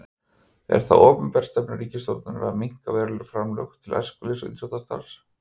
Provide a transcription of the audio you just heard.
Er það opinber stefna ríkisstjórnar að minnka verulega framlög til æskulýðs- og íþróttastarfs?